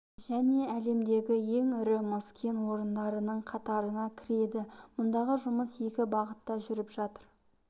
және әлемдегі ең ірі мыс кен орындарының қатарына кіреді мұндағы жұмыс екі бағытта жүріп жатыр